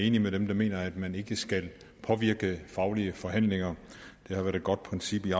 enig med dem der mener at man ikke skal påvirke faglige forhandlinger det har været et godt princip i